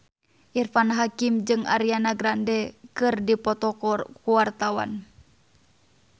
Irfan Hakim jeung Ariana Grande keur dipoto ku wartawan